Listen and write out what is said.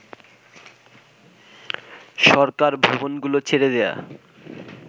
সরকার ভবনগুলো ছেড়ে দেয়া